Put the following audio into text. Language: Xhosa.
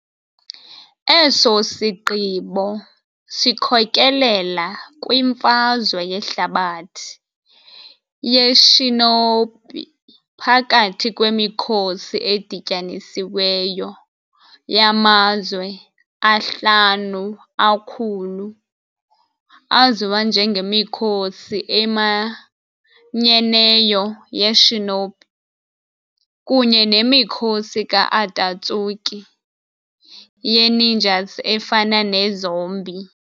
Eso sigqibo sikhokelela kwiMfazwe yeHlabathi yeShinobi phakathi kwemikhosi edityanisiweyo yaMazwe aHlanu aKhulu, aziwa njengeMikhosi eManyeneyo ye-Shinobi, kunye nemikhosi ka-Atatsuki ye-ninjas efana ne-zombie.